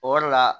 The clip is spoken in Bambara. O yɔrɔ la